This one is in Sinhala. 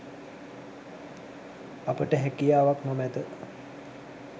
අපට හැකියාවක් නොමැත.